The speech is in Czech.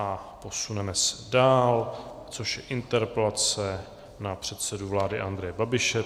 A posuneme se dál, což je interpelace na předsedu vlády Andreje Babiše.